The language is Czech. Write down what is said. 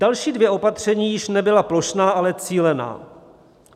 Další dvě opatření již nebyla plošná, ale cílená.